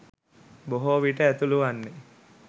බොහෝ විට ඇතුළු වන්නේ